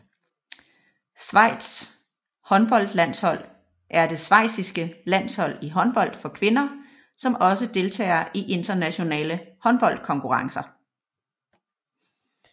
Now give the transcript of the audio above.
Schweizs håndboldlandshold er det schweiziske landshold i håndbold for kvinder som også deltager i internationale håndboldkonkurrencer